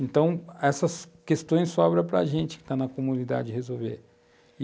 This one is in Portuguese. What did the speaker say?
Então, essas questões sobram para a gente, que está na comunidade, resolver.